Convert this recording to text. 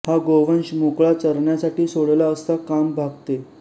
हा गोवंश मोकळा चरण्यासाठी सोडला असता काम भागते